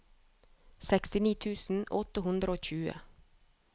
sekstini tusen åtte hundre og tjue